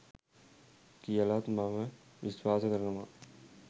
කියලත් මම විශ්වාස කරනවා